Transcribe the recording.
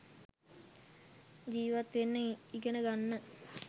ජීවත් වෙන්න ඉගෙන ගන්න.